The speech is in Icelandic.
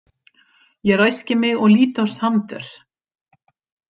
Ég ræski mig og lít á Sander.